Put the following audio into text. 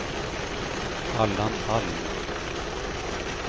Allan Alm